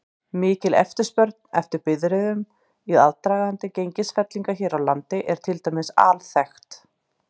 Mikil eftirspurn eftir bifreiðum í aðdraganda gengisfellinga hér á landi er til dæmis alþekkt.